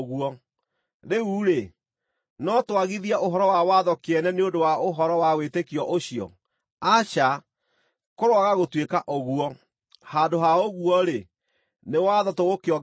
Rĩu-rĩ, no twagithie ũhoro wa watho kĩene nĩ ũndũ wa ũhoro wa wĩtĩkio ũcio? Aca, kũroaga gũtuĩka ũguo! Handũ ha ũguo-rĩ, nĩ watho tũgũkĩongerera hinya.